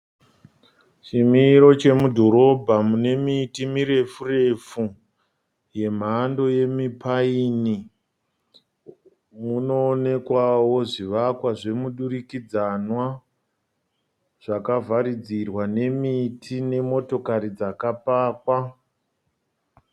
Chimiro chemudhorobha mune miti mirefu refu, yemhando yemi paini. Munoonekwawo zvivakwa zvemudurikidzanwa zvakavharidzirwa nemiti nemotokari dzakapakwa.